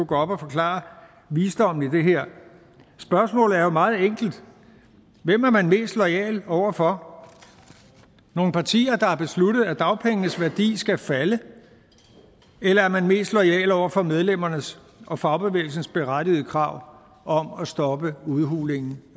gå op og forklare visdommen i det her spørgsmålet er jo meget enkelt hvem er man mest loyal over for nogle partier der har besluttet at dagpengenes værdi skal falde eller er man mest loyal over for medlemmernes og fagbevægelsernes berettigede krav om at stoppe udhulingen